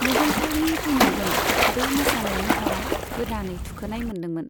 मुगलफोरनि फैनायजों, बे मोसानाय महरा गोदानै थुखोनाय मोनदोंमोन।